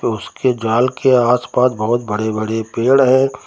उसके जाल के आसपास बहोत बड़े बड़े पेड़ हैं।